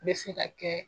Bɛ se ka kɛ